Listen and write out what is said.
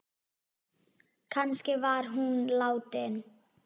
Kannski var hún látin.